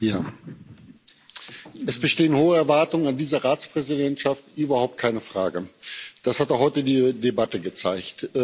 Herr Präsident! Es bestehen hohe Erwartungen an diese Ratspräsidentschaft, überhaupt keine Frage. Das hat auch heute die Debatte gezeigt.